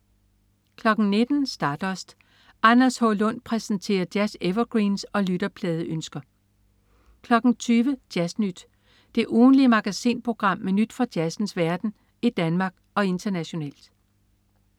19.00 Stardust. Anders H. Lund præsenterer jazz-evergreens og lytterpladeønsker 20.00 Jazz Nyt. Det ugentlige magasinprogram med nyt fra jazzens verden i Danmark og internationalt